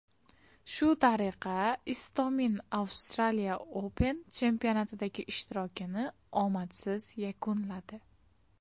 Shu tariqa, Istomin Australia Open chempionatidagi ishtirokini omadsiz yakunladi.